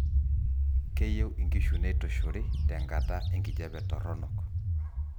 keyieu inkishu neitushuri tenkata enkijape toronok